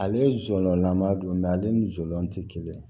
Ale ye jɔlɔlanba dɔ ye mɛ ale ni jɔn tɛ kelen